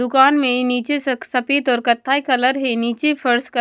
दुकान में नीचे सक सफेद और कत्थई कलर है नीचे फर्स का--